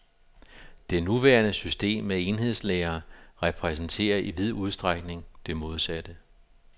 Det nuværende system med enhedslærere repræsenterer i vid udstrækning det modsatte.